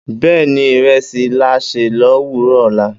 Bẹ́ẹ́ni, ìrẹsì láà ṣè lówùrọ ọ̀la.